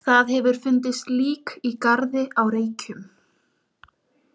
Það hefur fundist lík í garði á Reykjum.